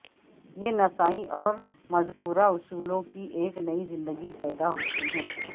یہ نسائی اور مذکورہ اصولوں کی ایک نئی زندگی پیدا ہوتی ہے